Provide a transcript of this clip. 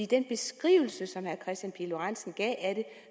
den beskrivelse som herre kristian pihl lorentzen gav af